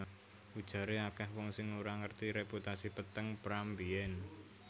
Ujaré akèh wong sing ora ngerti reputasi peteng Pram mbiyèn